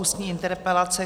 Ústní interpelace